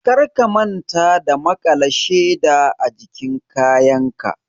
Kar ka manta ka makala sheda ajikin kayanka!